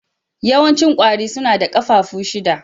Yawancin ƙwari suna da ƙafafu shida.